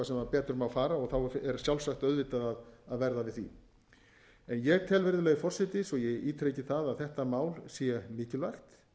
betur má fara og þá er sjálfsagt auðvitað að verða við því ég tel virðulegi forseti svo ég ítreki það að þetta mál sé mikilvægt